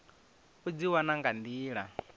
u dzi wana nga nḓila